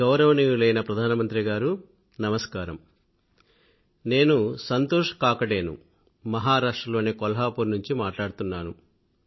గౌరవనీయులైన ప్రధానమంత్రి గారూ నమస్కారం నేను సంతోష్ కాకడే ను మహారాష్ట్ర లోని కొల్హాపూర్ నుండి మాట్లాడుతున్నాను